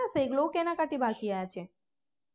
না সেই গুলোও কেনাকাটি বাকি আছে